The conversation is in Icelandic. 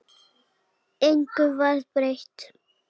Engu varð breytt.